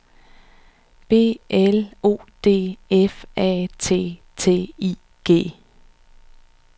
B L O D F A T T I G